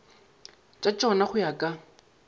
tša tšona go ya ka